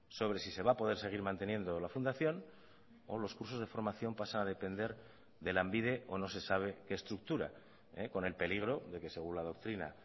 sobre si se va a poder seguir manteniendo la fundación o los cursos de formación pasa a depender de lanbide o no se sabe que estructura con el peligro de que según la doctrina